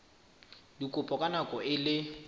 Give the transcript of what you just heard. dikopo ka nako e le